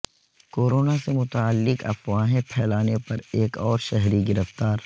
corona سے متعلق افواہیں پھیلانے پر ایک اور شہری گرفتار